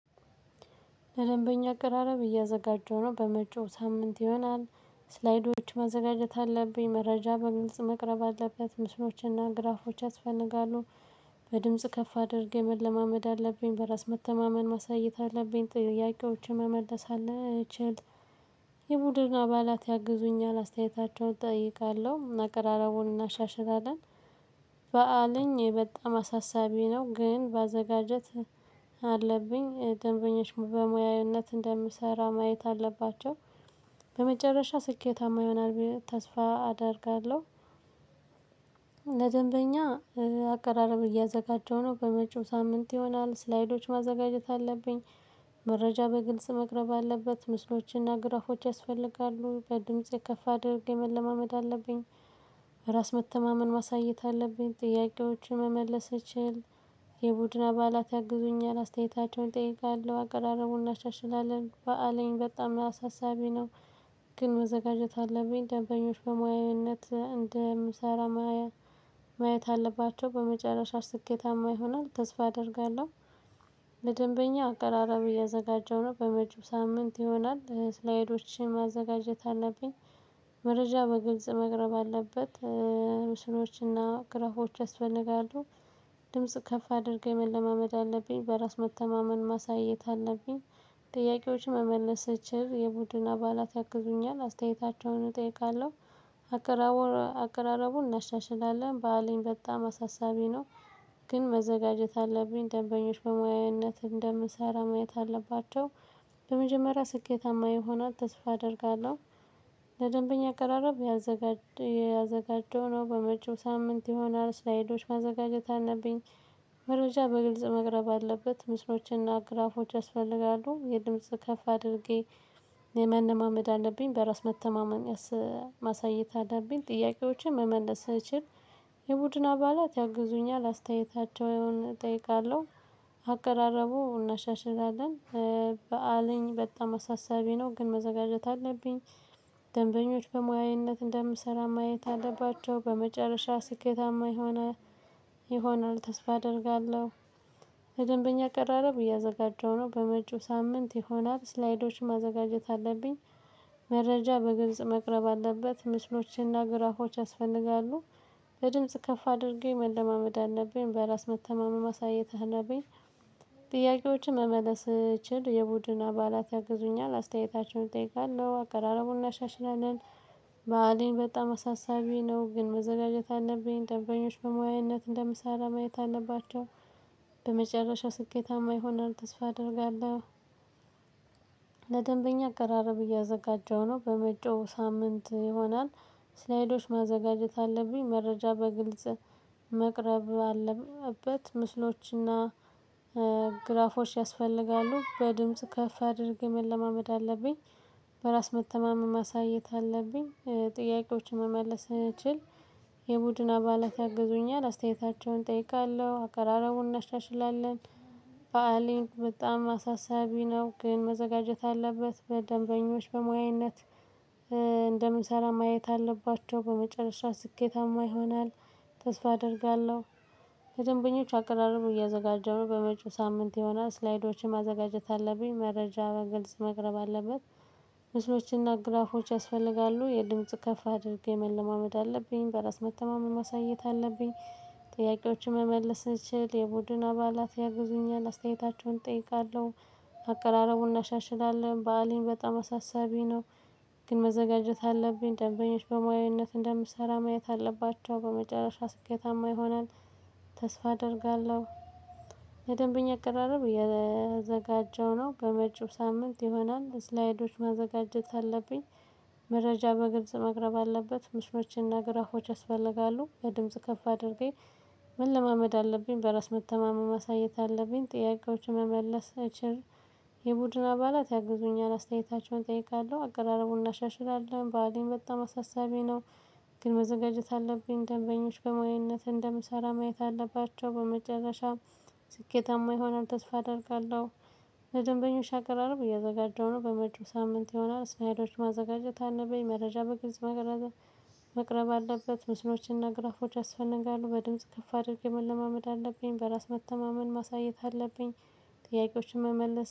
ለደንበኛ አቀራረብ እያዘጋጀሁ ነው በመጪው ሳምንት ይሆናል። ስላይዶቹ ማዘጋጀት አለብኝ መረጃ በግልጽ መቅረብ አለበት ምስሎችና ግራፎች ያስፈልጋሉ። በድምጽ ከፍ አድርገን መለማመደብ አለብኝ በራስ መተማመን ማሳየት አለብኝ ጥያቄዎች መመለስ አለበት የቡድን አባላት ያግዙኛል አስተያየታቸውን እጠይቃለሁ መቀራረቡን እናሻሽላለን። በአለኝ በጣም አሳሳቢ ነው። ግን ማዘጋጀት አለብኝ ደንበኞች በሙያዊነት እንደምሰራ ማየት አለባቸው። በመጨረሻ ስኬታማ ይሆናል ብዬ ተስፋ አደርጋለሁ። ለደንበኛ አቀራረብ እያዘጋጀሁ ነው በመጪው ሳምንት ይሆናል። ስላይዶች ማዘጋጀት አለብኝ። መረጃ በግልጽ መቅረብ አለበት ምስሎችና ግራፎች ያስፈልጋሉ። በድምጽ ከፍ አድርጌ መለማመድ አለብኝ። ራስ መተማመን ማሳየት አለብኝ ጥያቄዎችን መመለስ እችል የቡድን አባላት ያግዙኛል አስተያየታቸውን እጠይቃለሁ አገራረቡና እናሻሽላለን። በአለኝ በጣም አሳሳቢ ነው። ግን መዘጋጀት አለብኝ ደንበኞች በሙያዊነት እንደምሰራ ማየት አለባቸው። በመጨረሻ ስኬታማ ይሆናል ተስፋ አደርጋለሁ። ለደንበኛ አቀራራብ እያዘጋጀሁ ነው በመጭው ሳምንት ይሆናል። ስላይዶቼን ማዘጋጀት አለብኝ። መረጃ በግልጽ መቅረብ አለበት። ምስሎችና ግራፎች ያስፈልጋሉ። ድምጽ ከፍ አድርገን መለማመድ አለብኝ በራስ መተማመን ማሳየት አለብኝ። ጥያቄዎች መመለስ የቡድን አባላት ያግዙኛል አስተያየታቸውን እጠይቃለሁ አቀራረቡን እናሻሽላለን ባሌን በጣም አሳሳቢ ነው። ግን መዘጋጀት አለብኝ ደንበኞች በሙያነት እንደምሰራ ማየት አለባቸው። በመጀመሪያ ስኬታማ ይሆናል ተስፋ አደርጋለሁ። ለደንበኛ አቀራረብ። ያዘጋጀው ነው በመጪው ሳምንት የሆነ አርስ ላይዶች ማዘጋጀት አለብኝ። መረጃ በግልጽ መቅረብ አለበት። ምስሎችንና ግራፎችን ያስፈልጋሉ የድምጽ ከፍ አድርጌ የመነማመድ አለብኝ። በራስ መተማመን ማሳየት አለብኝ ጥያቄዎችን መመለስ። የቡድን አባላት ያግዙኛል አስተያየታቸውን እጠይቃለሁ አቀራረቡ እናሻሽላለን። በአለኝ በጣም አሳሳቢ ነው። ግን መዘጋጀት አለብኝ ደንበኞች በሙያዊነት እንደምሰራ ማየት አለባቸው። በመጨረሻ ስኬታማ ይሆናል ይሆናል ተስፋ አደርጋለሁ። በደንበኛ ቀራረብ እያዘጋጀው ነው በመጪው ሳምንት ይሆናል ስላይዶች ማዘጋጀት አለብኝ። መረጃ በግብጽ መቅረብ አለበት ምስሎቼና ግራፎች ያስፈልጋሉ። በድምጽ ከፍ አድርጌ መለማመድ አለብኝ በራስ መተማመን ማሳየት አለብኝ። ጥያቄዎችን መመለስ እችል የቡድን አባላት ያግዙኛል አስተያየታቸውን እጠይቃለሁ አቀራረቡን እናሻሽላለን። በዓሊን በጣም አሳሳቢ ነው። ግን መዘጋጀት አለብኝ ጠበኞች በሙያነት እንደምሳሌ ማየት አለባቸው። በመጨረሻ ስኬታማ ይሆናል ተስፋ አደርጋለሁ። ለደንበኛ አገራረብ እያዘጋጀው ነው በመጪው ሳምንት ይሆናል። ስላይዶች ማዘጋጀት አለብኝ መረጃ በግልጽ መቅረብ አለበት ምስሎችና ግራፎች ያስፈልጋሉ። በድምጽ ከፍ አድርገህ መለማመድ አለብኝ። በራስ መተማመም ማሳየት አለብኝ። ጥያቄዎችን መመለስ እንችል። የቡድን አባላት ያግዙኛል አስተያየታቸውን እጠይቃለሁ አከራረቡን እናሻሽላለን። በዓልን በጣም አሳሳቢ ነው። ግን መዘጋጀት አለበት ደንበኞች በሙያነት እንደምንሰራ ማየት አለባቸው። በመጨረሻ ስኬታማ ይሆናል ተስፋ አደርጋለሁ። ከደንበኞቹ አቀራረቡ እያዘጋጀሁ በመጪው ሳምንት የሆነ ስላይዶችን ማዘጋጀት አለብኝ መረጃ በግልጽ መቅረብ አለበት። ምስሎችና ግራፎች ያስፈልጋሉ የድምጽ ከፍ አድርጌ መለማመድ አለብኝ በራስ መተማመን ማሳየት አለብኝ። ጥያቄዎችን መመልስ እንችል የቡድን አባላት ያግዙኛል አስተያየታቸውን እጠይቃለሁ። አቀራረቡን እናሻሽላለን በዓሊን በጣም አሳሳቢ ነው። ግን መዘጋጀት አለብኝ ደንበኞች በሙያዊነት እንደምሰራ ማየት አለባቸው። በመጨረሻ ስኬታማ ይሆናል ተስፋ አደርጋለሁ። ለደንበኛ አቀራረብ የእያዘጋጀው ነው በመጪው ሳምንት ይሆናል ስላይዶች ማዘጋጀት አለብኝ። መረጃበግብጽ መቅረብ አለበት። ምሽማችንና ግራፎች ያስፈልጋሉ የድምጽ ከፍ አድርጌ መለማመድ አለብኝ። በራስ መተማመን ማሳየት አለብኝ ጥያቄዎችን መመለስ አይችል። የቡድን አባላት ያግዙኛል አስተያየታቸውን እጠይቃለሁ አቀራረቡን እናሻሽላለን። በዓሊን በጣም አሳሳቢ ነው። ግን መዘጋጀት አለብኝ ደንበኞች በሞዊነት እንደምሰራ ማየት አለባቸው። በመጨረሻም ስኬታማ ይሆናል ተስፋ አደርጋለሁ። ለደንበኞች አቅራረብ እያዘጋጀው ነው በመጪው ሳምንት ይሆናል እስላይዶች ማዘጋጀት አለብኝ መረጃ በግልጽ መቅረብ አለበት። ምስሎችንና ግራፎች ያስፈነጋሉ በድምጽ ከፍ አድርገን መለማመድ አለብኝ በራስ መተማመን ማሳየት አለብኝ። ጥያቄዎችን መመለስ